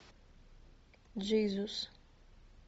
джизус